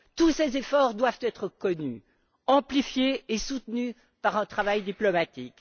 Tous ces efforts doivent être connus, amplifiés et soutenus par un travail diplomatique.